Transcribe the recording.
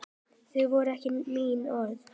Það voru ekki mín orð